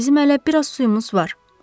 Bizim hələ biraz suyumuz var.